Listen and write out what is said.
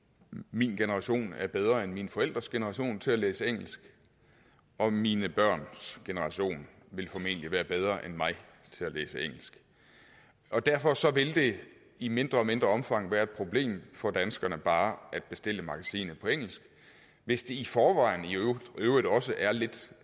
min generation er bedre end mine forældres generation til at læse engelsk og mine børns generation vil formentlig være bedre end mig til at læse engelsk og derfor vil det i mindre og mindre omfang være et problem for danskerne bare at bestille et magasin på engelsk hvis det i forvejen i øvrigt også er lidt